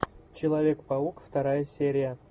человек паук вторая серия